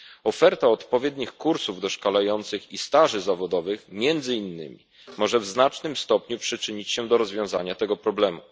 Oferta odpowiednich kursów doszkalających i staży zawodowych między innymi może w znacznym stopniu przyczynić się do rozwiązania tego problemu.